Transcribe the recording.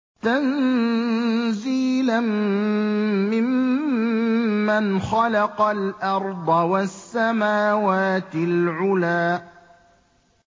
تَنزِيلًا مِّمَّنْ خَلَقَ الْأَرْضَ وَالسَّمَاوَاتِ الْعُلَى